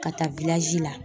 Ka taa la.